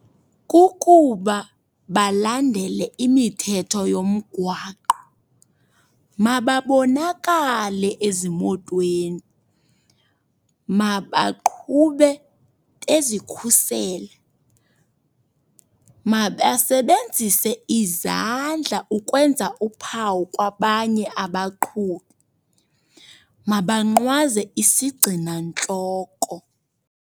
Kukuba balandele imithetho yomgwaqo. Mababonakale ezimotweni. Mabaqhube bazikhusela. Mabasebenzise izandla ukwenza uphawu kwabanye abaqhubi. Mabanqwaze isigcinantloko.